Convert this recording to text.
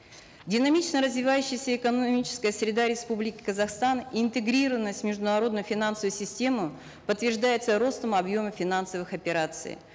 динамично развивающаяся экономическая среда республики казахстан интегрированность в международную финансовую систему подтверждается ростом объема финансовых операций